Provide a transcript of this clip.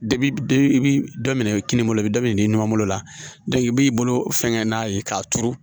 i bi dɔ minɛ kini bolo i bɛ dɔ minɛ i numan bolo la i b'i bolo fɛnkɛ n'a ye k'a turu